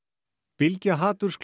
bylgja